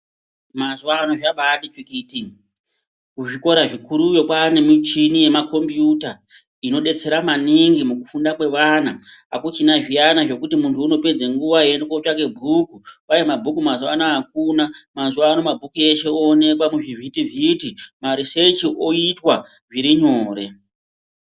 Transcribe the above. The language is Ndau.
Mazuwano zvabati tsvikiti. Kuzvikora zvikuruyo kwane michini yemakombiyuta. Inodetsera maningi mukufunda kwevana. Akuchina zviyana zvekuti muntu unopedza nguwa eienda kotsvake bhuku. Kwai mabhuku mazuwa anaya akuna. Mazuwano mabhuku eshe oneka muzvivhiti-vhiti. Marisechi oitwa zviri nyore.